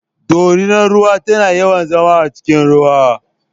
Dorinar ruwa tana yawan zama a cikin ruwa.